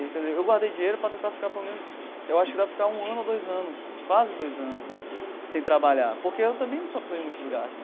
Quer dizer, eu guardei dinheiro para tentar ficar pelo menos, eu acho que dá para ficar um ano ou dois anos, quase dois anos né sem trabalhar, porque eu também não sou uma pessoa de muitos gastos.